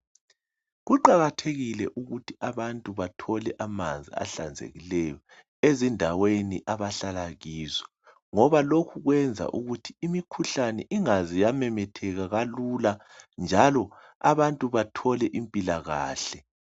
Kuqakathekile ukuthi abantu bathole amanzi ahlanzekileyo ezindaweni abahlala kizo ngoba lokhu kwenza ukuthi imikhuhlane ingaze yamemetheka kalula njalo abantu bathole impilakahle.